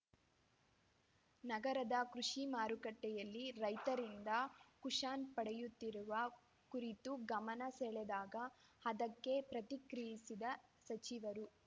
ನಗರದ ಕೃಷಿ ಮಾರುಕಟ್ಟೆಯಲ್ಲಿ ರೈತರಿಂದ ಕುಷನ್‌ ಪಡೆಯುತ್ತಿರುವ ಕುರಿತು ಗಮನ ಸೆಳೆದಾಗ ಅದಕ್ಕೆ ಪ್ರತಿಕ್ರಿಯಿಸಿದ ಸಚಿವರು